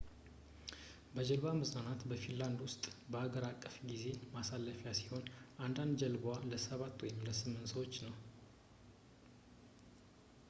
በጀልባ መዝናናት በፊንላንድ ውስጥ አገር አቀፍ የጊዜ ማሳለፊያ ሲሆን አንድ ጀልባዋ ለሰባት ወይም ስምንት ሰዎች ነው